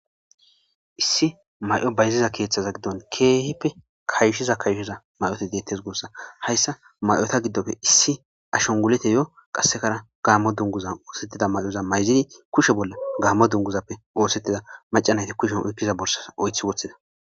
Iisi mayo bayiziza keethaza gidoni keehippe kayshiza kayshiza mayoti detes guusa , haysa mayota gidoppe issi ashangultiyo qasekara gaamo dunguzan osetida mayoza mayizidi kushe bolla gamo dunguzappe osetida maca nayti kusheni oykiza borsaza oythi wothida .